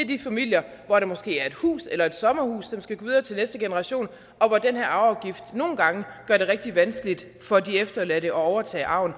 de familier hvor der måske er et hus eller et sommerhus som skal gå videre til næste generation og hvor den her afgift nogle gange gør det rigtig vanskeligt for de efterladte at overtage arven